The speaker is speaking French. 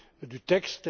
du texte.